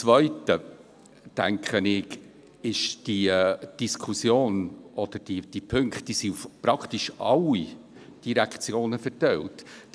Zweitens denke ich, dass diese Punkte praktisch auf alle Direktionen verteilt sind.